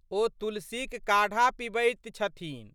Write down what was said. ओ तुलसीक काढ़ा पिबैत छथिन।